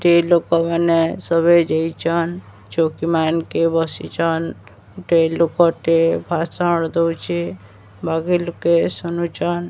ସ୍ତ୍ରୀ ଲୋକମାନେ ସବେ ଯାଇଚନ୍। ଚୌକି ମାନ୍ କେ ବସିଚନ୍। ଗୋଟେ ଲୋକଟେ ଭାଷଣ ଦୋଉଚେ। ବାକି ଲୋକେ ଶୁନୁଚନ୍।